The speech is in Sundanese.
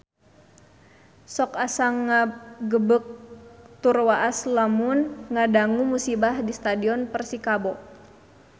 Sok asa ngagebeg tur waas lamun ngadangu musibah di Stadion Persikabo